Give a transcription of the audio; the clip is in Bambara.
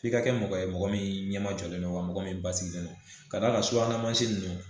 F'i ka kɛ mɔgɔ ye mɔgɔ min ɲɛma jɔlen don wa mɔgɔ min basigilen no ka d'a ka subana mansin ninnu